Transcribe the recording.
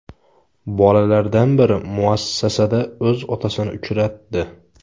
Bolalardan biri muassasada o‘z otasini uchratdi.